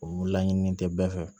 O laɲininen tɛ bɛɛ fɛ